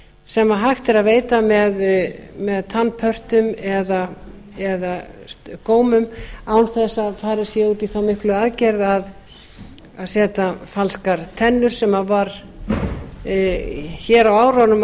sem hægt er að veita með tannpörtum eða gómum án þess að farið sé út í þá miklu aðgerð að setja falskar tennur sem hér á árunum